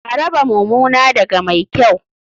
A raba mumuna daga mai kyau.